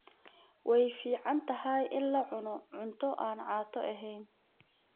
Way fiicantahay in la cuno cunto aan caato ahayn.